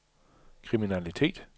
kriminalitet